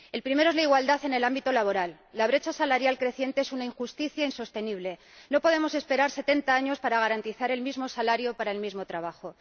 El primero es la igualdad en el ámbito laboral la brecha salarial creciente es una injusticia insostenible, no podemos esperar setenta años para garantizar el mismo salario para el mismo trabajo.